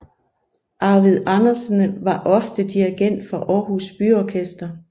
Arvid Andersen var ofte dirigent for Aarhus Byorkester